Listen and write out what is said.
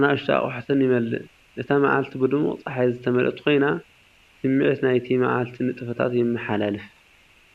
ንኣሽቱ ኣቑሑትን ይመልእ። እታ መዓልቲ ብድሙቕ ጸሓይ ዝተመልአት ኮይና ስምዒት ናይቲ መዓልቲ ንጥፈታት ይመሓላለፍ።